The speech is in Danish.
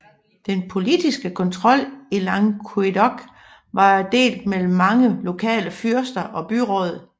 Den politiske kontrol i Languedoc var delt mellem mange lokale fyrster og byråd